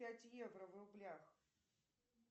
пять евро в рублях